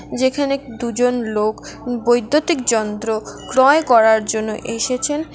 যেখানে দু'জন লোক বৈদ্যুতিক যন্ত্র ক্রয় করার জন্য এসেছেন।